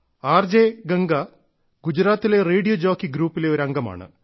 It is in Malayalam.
ആർ ജെ ഗംഗ ഗുജറാത്തിലെ റേഡിയോ ജോക്കി ഗ്രൂപ്പിലെ ഒരു അംഗമാണ്